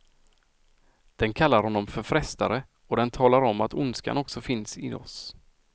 Den kallar honom för frestare och den talar om att ondskan också finns i oss.